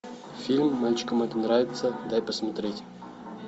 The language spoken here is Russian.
фильм мальчикам это нравится дай посмотреть